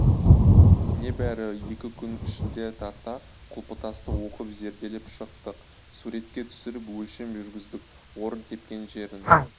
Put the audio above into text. небәрі екі күн ішінде тарта құлпытасты оқып зерделеп шықтық суретке түсіріп өлшем жүргіздік орын тепкен жерін